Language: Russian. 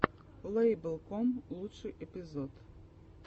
лэйбл ком лучший эпизод